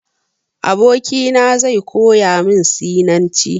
Abokina zai koya min Sinanci.